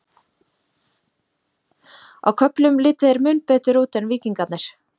Á köflum litu þeir mun betur út en Víkingarnir.